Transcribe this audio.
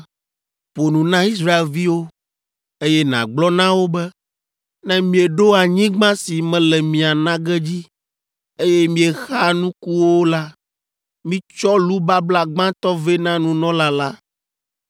“Ƒo nu na Israelviwo, eye nàgblɔ na wo be, ‘Ne mieɖo anyigba si mele mia na ge dzi, eye miexa nukuwo la, mitsɔ lu babla gbãtɔ vɛ na nunɔla la.